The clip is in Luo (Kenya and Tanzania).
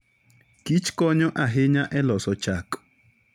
Kich konyo ahinya e loso chak.